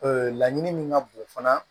laɲini min ka bon fana